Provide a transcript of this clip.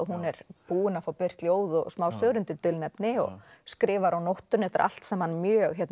hún er búin að fá birt ljóð og smásögur undir dulnefni og skrifar á nóttunni þetta er allt saman mjög